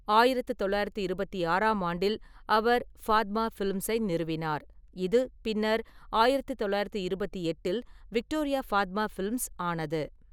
ஆயிரத்து தொள்ளாயிரத்து இருபத்தி ஆறாம் ஆண்டில், அவர் ஃபாத்மா ஃபிலிம்ஸை நிறுவினார், இது பின்னர் ஆயிரத்து தொள்ளாயிரத்து இருபத்தி எட்டில் விக்டோரியா-ஃபாத்மா ஃபிலிம்ஸ் ஆனது.